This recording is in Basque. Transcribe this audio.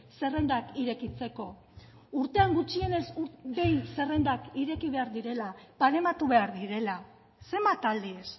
zerrendak irekitzeko urtean gutxienez behin zerrendak ireki behar direla barematu behar direla zenbat aldiz